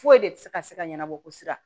Foyi de tɛ se ka se ka ɲɛnabɔ sira